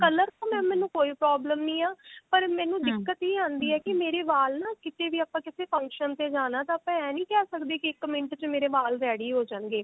color ਤੋਂ mam ਮੈਨੂੰ ਕੋਈ problem ਨਹੀਂ ਹੈ ਪਰ ਮੈਨੂੰ ਦਿੱਕਤ ਹੀ ਆਂਦੀ ਹੈ ਕਿ ਮੇਰੇ ਵਾਲ ਨਾ ਕੀਤੇ ਵੀ ਆਪਾਂ ਕਿਸੇ function ਤੇ ਜਾਣਾ ਤਾਂ ਆਪਾਂ ਐ ਨਹੀਂ ਕਹਿ ਸਕਦੇ ਕਿ ਇੱਕ ਮਿੰਟ ਵਿੱਚ ਮੇਰੇ ਵਾਲ ready ਹੋ ਜਾਣਗੇ